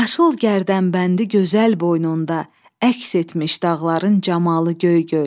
Yaşıl gərdəmbəndi gözəl boynunda əks etmiş dağların camalı Göygöl.